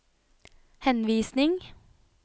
henvisning